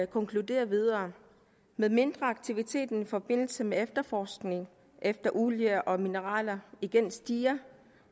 konkluderer videre med mindre aktiviteten i forbindelse med efterforskning efter olie og mineraler igen stiger